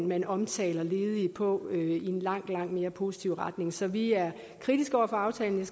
man omtaler ledige på i en langt langt mere positiv retning så vi er kritiske over for aftalen